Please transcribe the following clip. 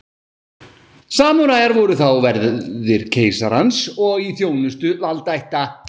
Samúræjar voru þá verðir keisarans og í þjónustu valdaætta.